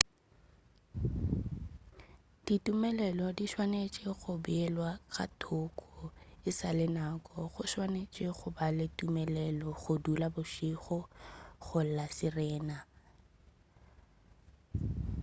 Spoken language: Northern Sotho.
ditumelelo di swanetše go beelwa ka thoko e sa le nako o swanetše go ba le tumelelo go dula bošego go la sirena